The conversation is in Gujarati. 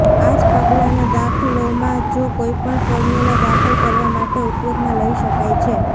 આ જ પગલાંનો દાખલોમાં જો કોઈપણ ફોર્મ્યુલા દાખલ કરવા માટે ઉપયોગમાં લઈ શકાય છે